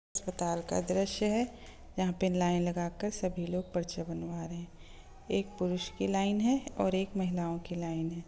अस्पताल का द्रश्य है जहा पर लाइन लगा कर सभी लोग पर्चे बनवा रहे है एक पुरुष की लाइन है और एक महिलाओ की लाइन है।